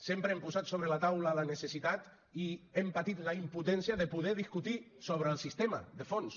sempre hem posat sobre la taula la necessitat i hem patit la impotència de poder discutir sobre el sistema de fons